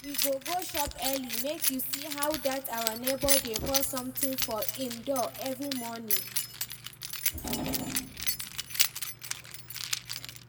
We go go shop early make you see how dat our neighbour dey pour something for im door every morning